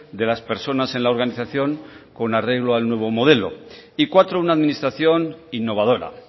de las personas en la organización con arreglo al nuevo modelo y cuatro una administración innovadora